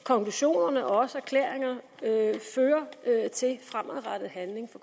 konklusionerne og også erklæringerne fører til fremadrettet handling